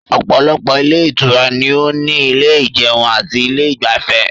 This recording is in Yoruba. Òpòlopò ilé Ìtura ni ó ní ilé ìjeun ati ilé igbafê